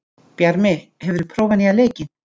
Bjarmi, hefur þú prófað nýja leikinn?